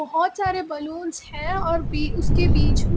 बहुत सारे बलूंस हैं और भी उसके बीच में--